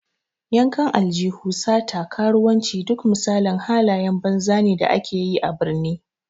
Yankan aljihu, sata, karuwanci, duk misalin halayen banza ne da ake yi a birni.